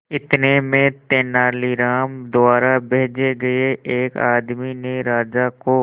इतने में तेनालीराम द्वारा भेजे गए एक आदमी ने राजा को